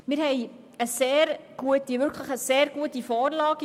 Wir haben eine sehr gute Vorlage.